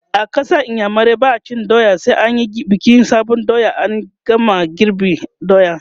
a ƙasar iyamurai ba'a cin doya sai an Yi bikin sabon doya in an game girban doya